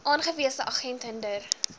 aangewese agent hinder